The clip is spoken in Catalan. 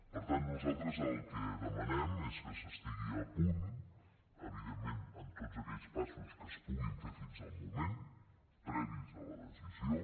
per tant nosaltres el que demanem és que s’estigui a punt evidentment en tots aquells passos que es puguin fer fins al moment previs a la decisió